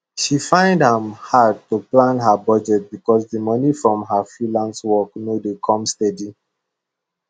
she find am hard to plan her budget because the money from her freelance work no dey come steady